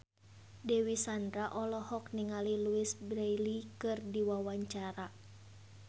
Dewi Sandra olohok ningali Louise Brealey keur diwawancara